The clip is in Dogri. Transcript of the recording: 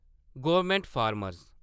government farmer